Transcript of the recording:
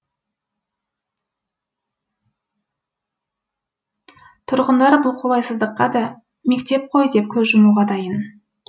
тұрғындар бұл қолайсыздыққа да мектеп қой деп көз жұмуға дайын